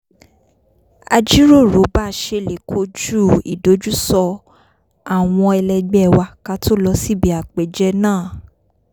a jíròrò bá a ṣe lè kojúu ìdojúso̩ àwo̩n e̩le̩gbé̩ wa ká tó lọ síbi àpèjẹ náà